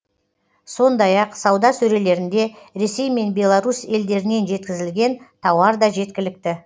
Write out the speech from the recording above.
сондай ақ сауда сөрелерінде ресей мен беларусь елдерінен жеткізілген тауар да жеткілікті